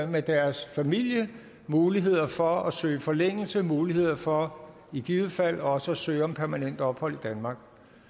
med deres familie muligheden for at søge forlængelse muligheden for i givet fald også at søge om permanent ophold i danmark